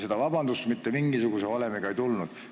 Seda vabandust mitte mingisuguse valemiga ei tulnud.